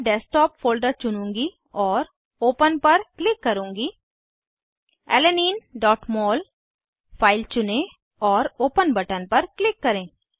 मैं desktop folder चुनूँगी और ओपन पर क्लिक करुँगीAlaninemol फाइल चुनें और ओपन बटन पर क्लिक करें